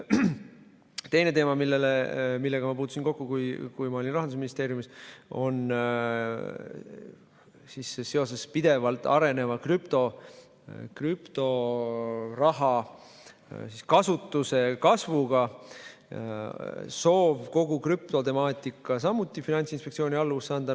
Teine teema, millega ma kokku puutusin, kui olin Rahandusministeeriumis, on soov seoses pidevalt areneva krüptoraha kasutuse kasvuga kogu krüptotemaatika samuti Finantsinspektsiooni alluvusse anda.